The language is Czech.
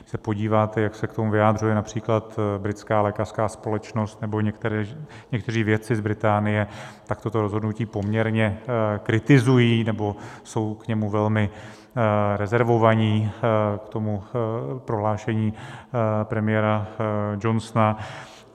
Když se podíváte, jak se k tomu vyjadřuje například britská lékařská společnost nebo někteří vědci z Británie, tak toto rozhodnutí poměrně kritizují nebo jsou k němu velmi rezervovaní, k tomu prohlášení premiéra Johnsona.